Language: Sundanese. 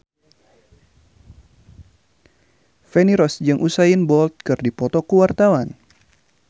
Feni Rose jeung Usain Bolt keur dipoto ku wartawan